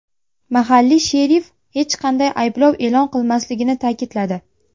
Mahalliy sherif hech qanday ayblov e’lon qilinmasligini ta’kidladi.